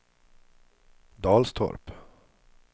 Dalstorp